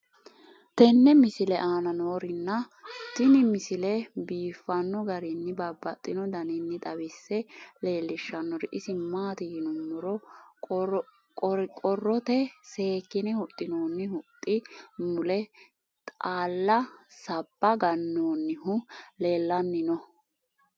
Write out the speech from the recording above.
tenne misile aana noorina tini misile biiffanno garinni babaxxinno daniinni xawisse leelishanori isi maati yinummoro qoriqorotte seekkinne huxxinoonni huxxi mule xaalla sabba ganoonnihu leelanni no